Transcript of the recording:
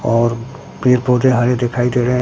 और पेड़ पौधे हरे दिखाई दे रहे हैं।